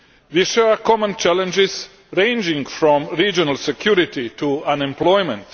We share common challenges, ranging from regional security to unemployment.